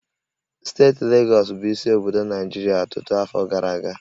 Steeti Legọs bụ isi obodo Naịjirịa ọtụtụ afọ gara aga